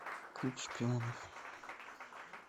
клуб шпионов